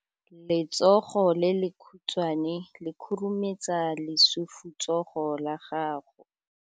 Letsogo le lekhutshwane le khurumetsa lesufutsogo la gago.